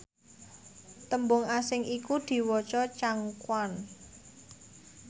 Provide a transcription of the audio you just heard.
tembung asing iku diwaca changquan